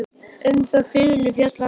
Um þá fiðlu fjallar sagan.